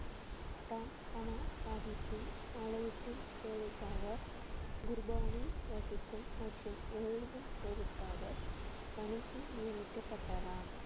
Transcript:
சாஹிப்பின் ஆலயத்தின் சேவைக்காக குர்பானி வசிக்கும் மற்றும் எழுதும் சேவைக்காக நியமிக்கப்பட்டாராம்